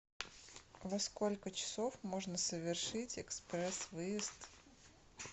во сколько часов можно совершить экспресс выезд